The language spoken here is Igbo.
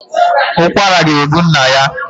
Ukwara ga egbu nna ya